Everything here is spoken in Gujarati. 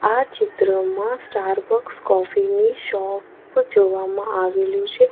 આ ચિત્રમાં સ્ટાર બકસ કોફી ની શોપ જોવામાં આવેલું છે.